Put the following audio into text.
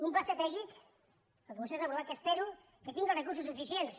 un pla estratègic el que vostès han aprovat que espe·ro que tingui els recursos suficients